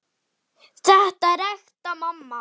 Þetta er ekta mamma!